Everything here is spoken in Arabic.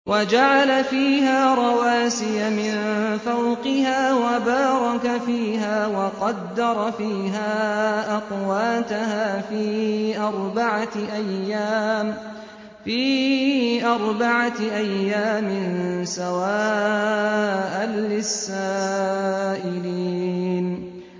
وَجَعَلَ فِيهَا رَوَاسِيَ مِن فَوْقِهَا وَبَارَكَ فِيهَا وَقَدَّرَ فِيهَا أَقْوَاتَهَا فِي أَرْبَعَةِ أَيَّامٍ سَوَاءً لِّلسَّائِلِينَ